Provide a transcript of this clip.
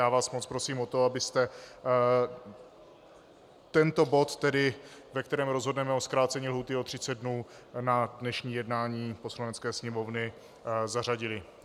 Já vás moc prosím o to, abyste tento bod, ve kterém rozhodneme o zkrácení lhůty o 30 dnů, na dnešní jednání Poslanecké sněmovny zařadili.